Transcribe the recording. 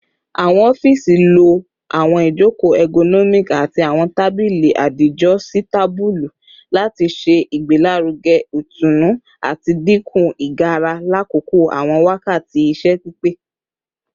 Awọn ọfiisi lo awọn ijoko ergonomic ati awọn tabili adijositabulu lati ṣe igbelaruge itunu ati dinku igara lakoko awọn wakati iṣẹ pipẹ